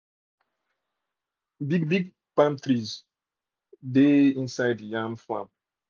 big big palm trees dey inside the yam farm